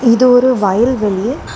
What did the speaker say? இது ஒரு வயல் வெளி.